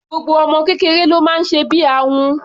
Gbogbo ọmọ kékeré ló máa ń sẹbí ahun.